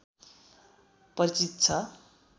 परिचित छ